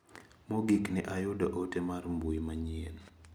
Mogik ne ayudo ote mar mbui manyien.